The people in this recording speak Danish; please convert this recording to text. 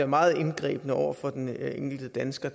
meget indgribende over for den enkelte dansker